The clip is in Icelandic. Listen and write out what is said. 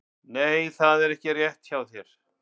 Nei, það er ekki rétt hjá þér!